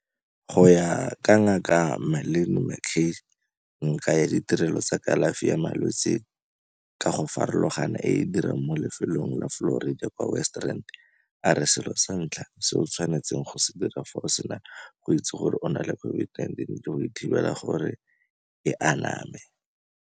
Go ya ka Ngaka Marlin McCay, ngaka ya ditirelo tsa kalafi ya malwetse ka go farologana e e dirang mo lefelong la Florida kwa West Rand, a re selo sa ntlha se o tshwanetseng go se dira fa o sena go itse gore o na le COVID-19 ke go thibela gore e aname.